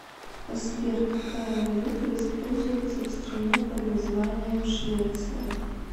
сбер какая валюта используется в стране под названием швеция